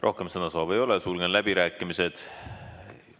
Rohkem sõnasoovi ei ole, sulgen läbirääkimised.